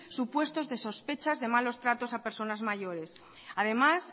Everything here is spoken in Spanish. supuestos de sospechas de malos tratos a personas mayores además